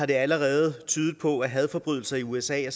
det allerede på at hadforbrydelser i usa